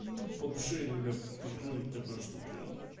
по душе иногда приходит такое что прям